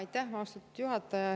Aitäh, austatud juhataja!